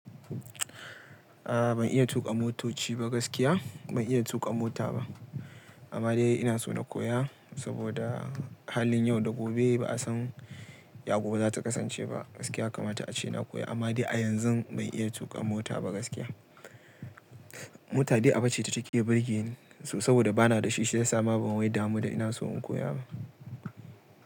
A, a ban iya tuƙa motoci ba gaskiya, ban iya tuƙa mota ba. Amma dai ina so na koya, saboda halin yau da gobe ba a san ya gobe za ta kasance ba gaskiya. Ya Kama ta a ce na koya amma dai a yanzun ban iya tuƙa mota ba gaskiya. Mota dai aba ce ta ke birgeni, to saboda bana da shi shiyasa ma ban wai damu da ina so in koya ba.